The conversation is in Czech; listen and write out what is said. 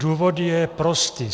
Důvod je prostý.